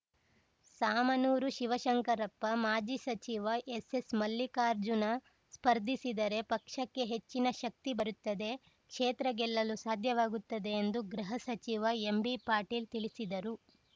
ಶಾಮನೂರು ಶಿವಶಂಕರಪ್ಪ ಮಾಜಿ ಸಚಿವ ಎಸ್‌ಎಸ್‌ಮಲ್ಲಿಕಾರ್ಜುನ ಸ್ಪರ್ಧಿಸಿದರೆ ಪಕ್ಷಕ್ಕೆ ಹೆಚ್ಚಿನ ಶಕ್ತಿ ಬರುತ್ತದೆ ಕ್ಷೇತ್ರ ಗೆಲ್ಲಲು ಸಾಧ್ಯವಾಗುತ್ತದೆ ಎಂದು ಗೃಹ ಸಚಿವ ಎಂಬಿಪಾಟೀಲ್‌ ತಿಳಿಸಿದರು